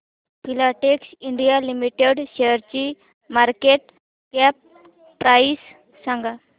Filatex India limited शेअरची market cap price सांगा